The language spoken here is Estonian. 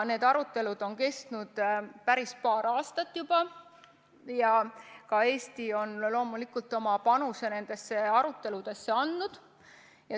Need arutelud on kestnud paar aastat ja ka Eesti on loomulikult oma panuse nendesse aruteludesse andnud.